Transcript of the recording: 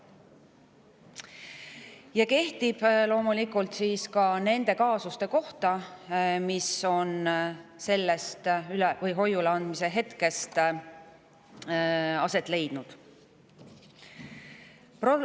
See kehtib loomulikult ka nende kaasuste kohta, mis on alates hoiule andmise hetkest aset leidnud.